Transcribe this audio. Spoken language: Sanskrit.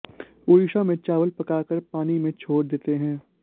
उड़ीसा में चावल पकाकर पानी में छोड़ देते हैं